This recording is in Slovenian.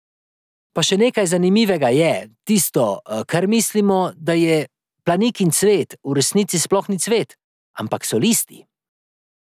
Pa še nekaj zanimivega je, tisto, kar mislimo, da je planikin cvet, v resnici sploh ni cvet, ampak so listi.